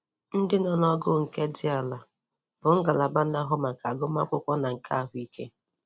Ndị nọ n'ógó nke dị àlà bụ ngalaba na-ahụ maka agụmakwụkwụọ na nke ahụike.